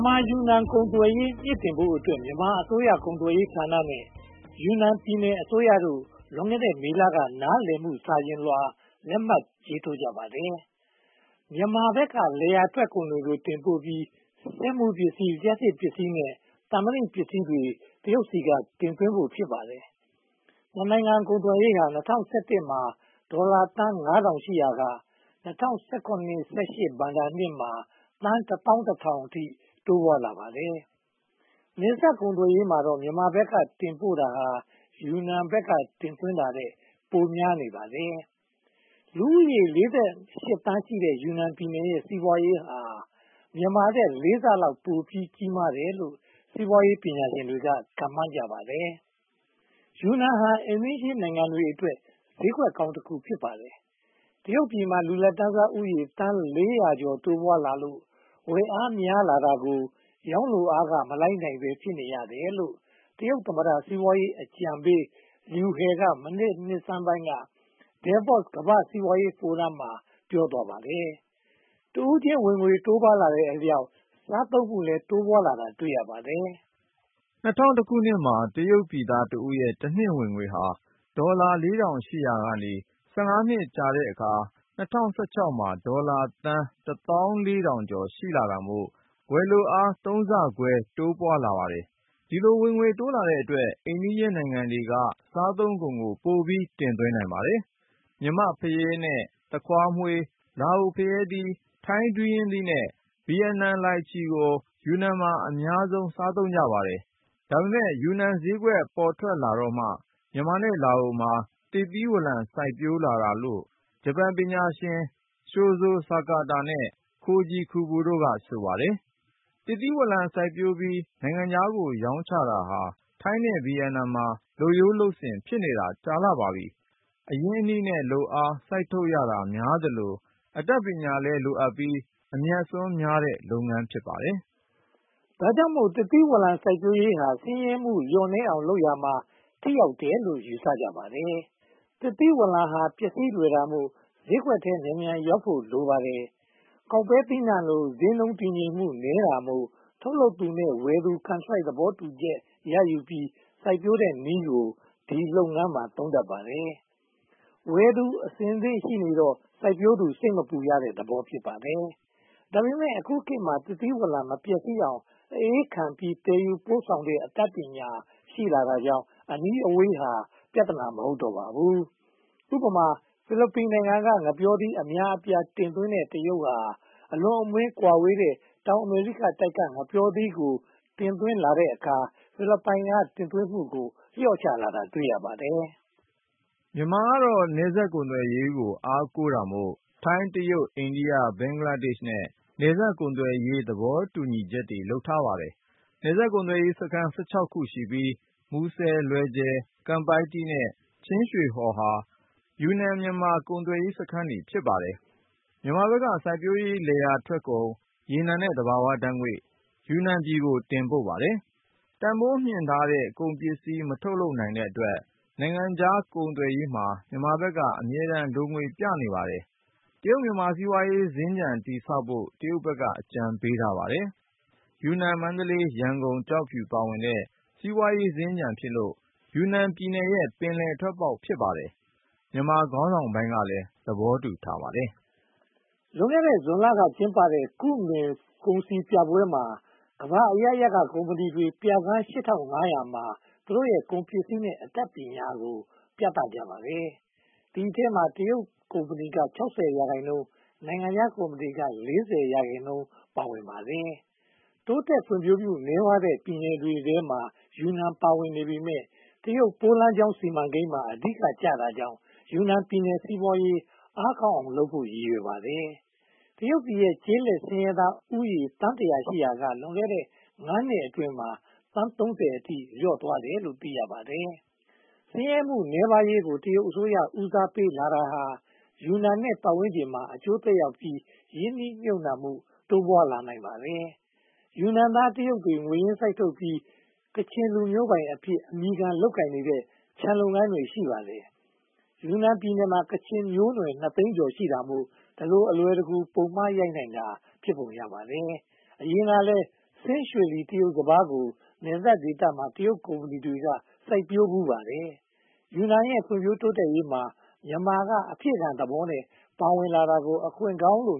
န်မာ-ယူနန် ကုန်သွယ်ရေး မြှင့်တင်ဖို့အတွက် မြန်မာအစိုးရကုန်သွယ်ရေးဌာနနဲ့ ယူနန်ပြည်နယ်အစိုးရတို့ လွန်ခဲ့တဲ့မေလက နားလည်မှု စာချွန်လွှာလက်မှတ် ရေးထိုးကြပါတယ်။ မြန်မာဘက်က လယ်ယာထွက်ကုန်တွေ တင်ပို့ပြီး၊ စက်မှုပစ္စည်း၊ လျှပ်စစ်ပစ္စည်း၊ သံမဏီပစ္စည်းတွေကို တရုတ်ဘက်က တင်သွင်းဖို့ ဖြစ်ပါတယ်။ နှစ်နိုင်ငံကုန်သွယ်ရေး ပမာဏဟာ ၂၀၁၁ မှာ အမေရိကန်ဒေါ်လာ ငါးထောင်ရှိရာက ၂၀၁၇-၁၈ ဘဏ္ဍာရေးနှစ်မှာ ဒေါ်လာသန်း (၁,၁၀၀၀) အထိ တိုးမြင့်လာပါတယ်။ နယ်စပ်ကုန်သွယ်ရေးမှာတော့ မြန်မာဘက်ကတင်ပို့တာဟာ ယူနန်ဘက်က တင်သွင်းတာထက် ပိုများနေပါတယ်။ လူဦးရေး (၄၈) သန်းရှိတဲ့ ယူနန်ပြည်နယ်ရဲ့ စီးပွားရေးဟာ မြန်မာထက် လေးဆလောက် ပိုကြီးမားတယ်လို့ စီးပွားရေးပညာရှင်တွေက ခန့်မှန်းကြပါတယ်။ ယူနန်ဟာ အိမ်နီးချင်းနိုင်ငံတွေအတွက် ဈေးကွက်ကောင်း ဖြစ်လာပါတယ်။ တရုတ်ပြည်မှာ လူလတ်တန်းစားဦးရေ သန်း (၄၀၀) ကျော် တိုးပွားလာလို့ ဝယ်လိုအား များပြားလာတာကို ရောင်းလိုအားက မလိုက်နိုင်ဘဲ ဖြစ်နေရတယ်လို့ တရုတ်သမ္မတ စီးပွားရေးအကြံပေး လျူဟယ် (Liu He) က နှစ်ဆန်းပိုင်းက Devos ကမ္ဘာ့စီးပွားရေးဖိုရမ်မှာ ပြောသွားခဲ့ပါတယ်။ တဦးချင်းဝင်ငွေ တိုးပွားလာတဲ့အတွက် စားသုံးနှုန်းမှုလည်း တိုးပွားလာတာ တွေ့ရပါတယ်။ ၂၀၁၁ မှာ တရုတ်ပြည်သားတဦးရဲ့ တနှစ်ဝင်ငွေဟာ ဒေါ်လာ (၄၀၀၀) ကျော်ရှိရာက (၁၅) နှစ်အကြာ ၂၀၁၆ မှာ ဒေါ်လာ (၁၄,၀၀၀) ကျော် ရှိလာတာမို့ ဝယ်လိုအား သုံးဆခွဲ တိုးပွားလာပါတယ်။ ဒီလို ဝင်ငွေတိုးလာတဲ့အတွက် အိမ်နီးချင်းနိုင်ငံတွေက စားသုံးကုန်ကို ပိုပြီးတင်သွင်းနိုင်ပါတယ်။ မြန်မာ့ဖရဲသီး နဲ့ သခွားမွှေး၊ လာအိုဖရဲသီး၊ ထိုင်းဒူးရင်းသီး နဲ့ ဗိယက်နမ်လိုင်ချီတို့ကို ယူနန်မှာ အများဆုံး စားသုံးကြပါတယ်။ ဒါပေမဲ့ ယူနန်ဈေးကွက် ပေါ်ထွက်လာတော့မှ မြန်မာနဲ့လာအိုမှာ သစ်သီးဝလံ စိုက်ပျိုးလာတာလို့ ဂျပန်ပညာရှင် Shozo Sakata နဲ့ Koji Kubo တို့က ဆိုပါတယ်။ သစ်သီးဝလံ စိုက်ပျိုးပြီး နိုင်ငံခြားကို ရောင်းချတာဟာ ထိုင်းနဲ့ဗိယက်နမ်မှာ လုပ်ရိုးလုပ်စဉ် ဖြစ်နေတာ ကြာခဲ့ပါပြီ။ အရင်းအနှီးနဲ့ လုပ်အားစိုက်ထုတ်ရတာများသလို အတတ်ပညာလည်းလိုအပ်ပြီး အမြတ်အစွန်းများတဲ့ လုပ်ငန်း ဖြစ်ပါတယ်။ ဒါကြောင့်မို့ သစ်သီးဝလံ စိုက်ပျိုးရေးဟာ ဆင်းရဲမှုလျော့နည်းအောင် လုပ်ရာမှာ ထိရောက်တယ်လို့ ယူဆကြပါတယ်။ သစ်သီးဝလံဟာ ပျက်စီးလွယ်တာမို့ ထုတ်လုပ်သူနဲ့ ဝယ်သူ ကန်ထရိုက် သဘောတူညီမှု ရယူပြီး စိုက်ပျိုးတဲ့နည်းက ဒီလုပ်ငန်းမှာ ခေတ်စားလာပါတယ်။ ဝယ်သူအဆင်သင့်ရှိနေတော့ စိုက်ပျိုးသူ စိတ်မပူရတဲ့သဘော ဖြစ်ပါတယ်။ ဒါပေမဲ့ အခုခေတ်မှာ သစ်သီးဝလံ မပျက်စီးအောင် အအေးခံပြီး သယ်ယူပို့ဆောင်နိုင်တဲ့ နည်းပညာ ရှိလာတာကြောင့် အနီးအဝေးဟာ ပြဿနာ မဟုတ်တော့ပါဘူး။ ဥပမာ ဖိလစ်ပိုင်နိုင်ငံက ငှက်ပျောသီး အများအပြား တင်သွင်းတဲ့ တရုတ်နိုင်ငံဟာ အလွန်ဝေးကွာတဲ့ တောင်အမေရိကတိုက်က ငှက်ပျောသီးကို တင်သွင်းလိုက်တဲ့အခါ ဖိလစ်ပိုင်က တင်သွင်းမှုကို လျော့ချလာတာ တွေ့ရပါတယ်။ မြန်မာနိုင်ငံကတော့ နယ်စပ်ကုန်သွယ်ရေးကို အားကိုးတာမို့ ထိုင်း၊ တရုတ်၊ အိန္ဒိယ၊ ဘင်္ဂလားဒေ့ရှ်နဲ့ နယ်စပ်ကုန်သွယ်ရေး သဘောတူညီချက်တွေ လုပ်ထားပါတယ်။ နယ်စပ်ကုန်သွယ်ရေးစခန်း (၁၆) ခု ရှိပြီး၊ မူဆယ်၊ လွယ်ဂျေ၊ ကန်ပိုက်တီး နဲ့ ချင်းရွှေဟော်တို့ဟာ ယူနန်-မြန်မာ ကုန်သွယ်ရေးစခန်းတွေ ဖြစ်ပါတယ်။ မြန်မာဘက်က စိုက်ပျိုးလယ်ယာထွက်ကုန်၊ ရေနံနဲ့သဘာဝဓါတ်ငွေ့တို့ကို ယူနန်ကို တင်ပို့ပါတယ်။ တန်းဖိုးမြှင့်ထားတဲ့ ကုန်ပစ္စည်း မထုတ်လုပ်နိုင်တဲ့အတွက် နိုင်ငံခြားကုန်သွယ်ရေးမှာ မြန်မာဘက်က အမြဲတမ်း လိုငွေပြနေပါတယ်။ တရုတ်-မြန်မာ စီးပွားရေး စင်္ကြန်တည်ဆောက်ဖို့ တရုတ်ဘက်က အကြံပေးထားပါတယ်။ ယူနန်-မန္တလေး-ရန်ကုန်-ကျောက်ဖြူ တို့ပါဝင်တဲ့ စီးပွားရေးစင်္ကြန်ဖြစ်လို့ ယူနန်ပြည်နယ်ရဲ့ ပင်လယ်ထွက်ပေါက် ဖြစ်ပါတယ်။ မြန်မာခေါင်းဆောင်ပိုင်းကလည်း သဘောတူထားပါတယ်။ လွန်ခဲ့တဲ့ ဇွန်လက ကျင်းပပြုလုပ်ခဲ့တဲ့ ကုမင်ကုန်စည်ပြပွဲမှာ ကမ္ဘာအရပ်ရပ်က ကုမ္မဏီတွေက ပြခန်း (၈၅၀၀) မှာ သူတို့ထုတ်လုပ်နေတဲ့ ကုန်ပစ္စည်းတွေနဲ့ အတတ်နည်းပညာတွေကို ခင်းကျင်းပြသကြပါတယ်။ ဒီအထဲမှာ တရုတ်ကုမ္ပဏီတွေက (၆၀) ရာခိုင်နှုန်းရှိပြီး နိုင်ငံခြားကုမ္ပဏီတွေက (၄၀) ရာခိုင်နှုန်း ပါဝင်ကြပါတယ်။ တိုးတက်ဖွံ့ဖြိုးမှုနည်းပါးတဲ့ ပြည်နယ်တွေထဲမှာ ယူနန်ပြည်နယ် ပါဝင်နေပေမယ့် တရုတ်ရဲ့ မဟာစီးပွားရေးစီမံကိန်းမှာ အဓိကကျတာကြောင့် ယူနန်ပြည်နယ် စီးပွားရေးအားကောင်းအောင်လုပ်ဖို့ ရည်ရွယ်ပါတယ်။ တရုတ်နိုင်ငံမှာ ကျေးလက်ဆင်းရဲသားဦးရေ သန်းတစ်ရာ ရှိရာက လွန်ခဲ့တဲ့ (၅) နှစ်အတွင်းမှာ သန်း (၃၀) အထိ လျော့သွားတယ်လို့ သိရပါတယ်။ ဆင်းရဲမှုနည်းပါးရေးကို တရုတ်အစိုးရ ဦးစားပေးလာတာ ယူနန်နဲ့ ပတ်ဝန်းကျင်မှာ အကျိုးသက်ရောက်ပြီး ရင်းနှီးမြုပ်နံှမှု တိုးပွားလာနိုင်ပါတယ်။ ယူနန်ပြည်နယ်သား တရုတ်တွေက ငွေရင်းစိုက်ထုတ်ပြီး ကချင်လူမျိုးပိုင်အဖြစ် အမည်ခံလုပ်ကိုင်နေတဲ့ ခြံလုပ်ငန်းတွေ ရှိပါတယ်။ ယူနန်ပြည်နယ်မှာ ကချင်မျိုးနွယ် (၂) သိန်းကျော် ရှိတာမို့ ဒီလိုအလွယ်တကူ ပုံမှားရိုက်နိုင်တာ ဖြစ်ပုံရပါတယ်။ အရင်ကလည်း ဆင်းရွှေလီ တရုတ်စပါးကို နယ်စပ်ဒေသမှာ တရုတ်ကုမ္ပဏီတွေ စိုက်ဖူးပါတယ်။ ယူနန်ရဲ့ ဖွံ့ဖြိုးတိုးတက်ရေးမှာ မြန်မာက အဖြည့်ခံသဘောမျိုးနဲ့ ပါဝင်လာတာကို အခွင့်ကောင်းလိ